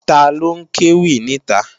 Taló ń kéwì níta?